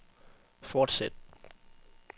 fortsæt